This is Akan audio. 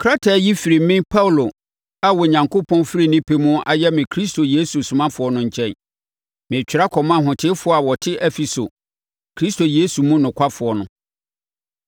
Krataa yi firi me Paulo a Onyankopɔn firi ne pɛ mu ayɛ me Kristo Yesu somafoɔ no nkyɛn, Meretwerɛ akɔma ahotefoɔ a wɔte Efeso, Kristo Yesu mu nokwafoɔ no: